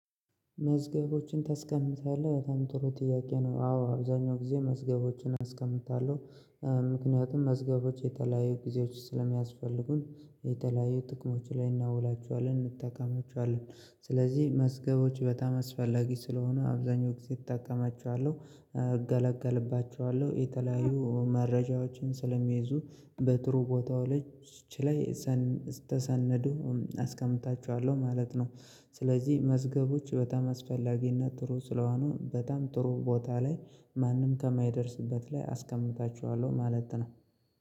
"መዝገቦችን ታስቀምጣለሁ?" በጣም ጥሩ ጥያቄ ነው። አዎ አብዛኛው ጊዜ መዝገቦችን አስቀምጣለሁ። ምክንያቱም መዝገቦች የተለያዩ ጊዜዎች ስለሚያስፈልጉን የተለያዩ ጥቅሞች ላይ እናውላቸዋለን እንጠቀማችዋለን። ስለዚህ መዝገቦች በጣም አስፈላጊ ስለሆኑ አብዛኛው ጊዜ እጠቀማቸዋለሁ እገለገልባቸዋለሁ የተለያዩ መረጃዎችንም ስለሚይዙ በጥሩ ቦታው ላይ ች ላይ ሳን ተሰነዱ አስቀምጣቸዋለሁ ማለት ነው። ስለዚህ መዝገቦች በጣም አስፈላጊና ጥሩ ስለሆኑ በጣም ጥሩ ቦታ ላይ ማንም ከማይደርስበት ላይ አስቀምጣቸዋለሁ ማለት ነው።